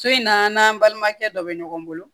So in n'an balimakɛ dɔ bɛ ɲɔgɔn bolo